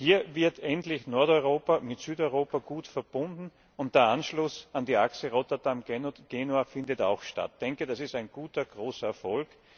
Hier wird endlich Nordeuropa mit Südeuropa gut verbunden und der Anschluss an die Achse Rotterdam Genua findet auch statt. Ich denke, das ist ein guter, großer Erfolg.